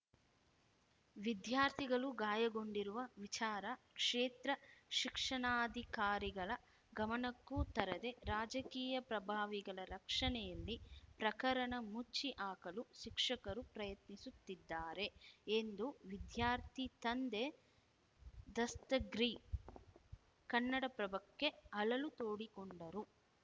ವಿದ್ಯಾರ್ಥಿಗಳು ಗಾಯಗೊಂಡಿರುವ ವಿಚಾರ ಕ್ಷೇತ್ರ ಶಿಕ್ಷಣಾಧಿಕಾರಿಗಳ ಗಮನಕ್ಕೂ ತರದೆ ರಾಜಕೀಯ ಪ್ರಭಾವಿಗಳ ರಕ್ಷಣೆಯಲ್ಲಿ ಪ್ರಕರಣ ಮುಚ್ಚಿ ಹಾಕಲು ಶಿಕ್ಷಕರು ಪ್ರಯತ್ನಿಸುತ್ತಿದ್ದಾರೆ ಎಂದು ವಿದ್ಯಾರ್ಥಿ ತಂದೆ ದಸ್ತಗ್ರಿ ಕನ್ನಡಪ್ರಭಕ್ಕೆ ಅಳಲು ತೋಡಿಕೊಂಡರು